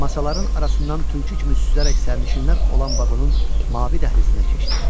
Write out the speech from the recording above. Masaların arasından tülkü kimi süzərək sərnişinlər olan vaqonun mavi dəhlizinə keçdi.